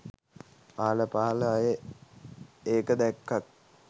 අහල පහල අය ඒක දැක්කත්